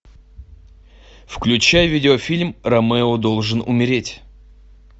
включай видеофильм ромео должен умереть